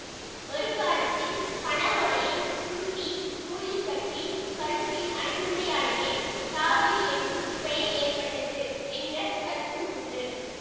ஒரு காலத்தில் பனை ஓலையை சுருட்டி நூலில் கட்டி கழுத்தில் அணிந்தமையாலேயே தாலி என்னும் பெயர் ஏற்பட்டது என்ற கருத்தும் உண்டு